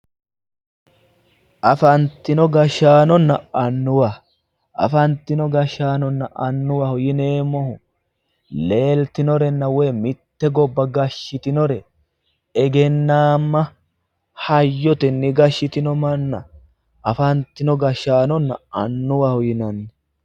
afantino gashshaanonna annuwa afantino gashshaanonna annuwa yineemmohu leeltinorenna mitte gobba gashshitinore egennaamma hayyotenni gashshitino manna afantino gashshaanonna annuwaho yinanni.